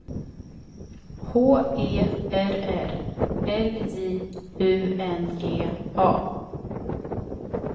H E R R L J U N G A